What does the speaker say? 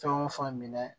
Fɛn o fɛn minɛ